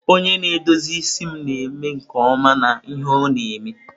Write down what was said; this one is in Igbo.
Onye na-edozi isi m na-eme nke ọma n'ihe ọ na-eme.